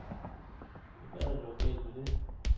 Ja, hvad er der dog galt med det?